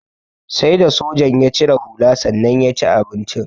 Sai da sojan ya cire hula sannan ya ci abincin.